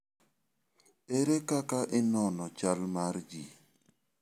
Ere kaka inono chal mar ji?